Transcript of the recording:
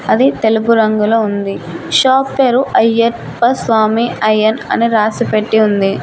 అది తెలుపు రంగులో ఉంది షాప్ పేరు అయ్యార్ప స్వామి అయ్యన్ అని రాసి పెట్టి ఉంది.